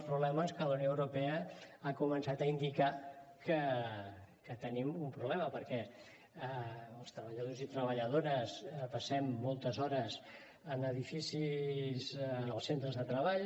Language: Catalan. i la unió europea ha començat a indicar que hi tenim un problema perquè els treballadors i treballadores passem moltes hores en edificis als centres de treball